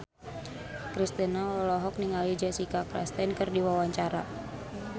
Kristina olohok ningali Jessica Chastain keur diwawancara